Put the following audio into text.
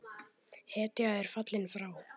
Hetja er fallin frá!